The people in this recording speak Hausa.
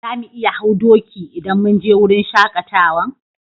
Za mu iya hau doki idan mun je wurin shakatawan?